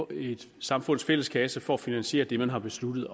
et samfunds fælles kasse for at finansiere det man har besluttet